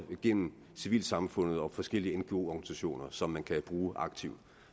gennem civilsamfund og forskellige ngoer som man kan bruge aktivt